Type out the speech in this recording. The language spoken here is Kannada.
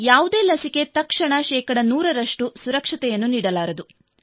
ಯಾವುದೇ ಲಸಿಕೆ ತಕ್ಷಣ ಶೇ 100 ರಷ್ಟು ಸುರಕ್ಷತೆಯನ್ನು ನೀಡಲಾರದು